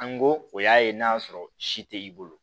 An go o y'a ye n'a sɔrɔ si tɛ i bolo